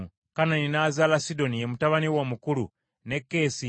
Kanani n’azaala Sidoni, ye mutabani we omukulu, ne Keesi;